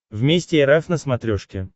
вместе эр эф на смотрешке